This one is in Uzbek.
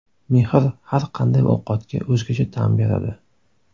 Mehr har qanday ovqatga o‘zgacha ta’m beradi.